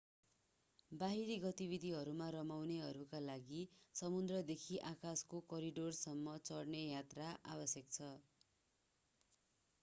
बाहिरी गतिविधिहरूमा रमाउनेहरूका लागि समुद्रदेखि आकाशको करिडोरसम्म चढ्ने यात्रा आवश्यक छ